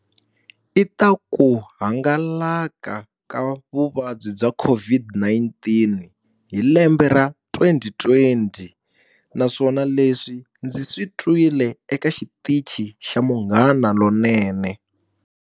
I ta ku hangalaka ka vuvabyi bya COVID-19 hi lembe ra twenty twenty. Naswona leswi ndzi swi twile eka xitichi xa Munghana Lonene.